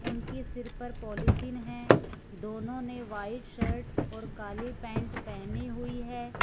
उनके सिर पर पॉलीथिन है दोनों ने व्हाइट शर्ट और काली पेंट पहनी हुई है।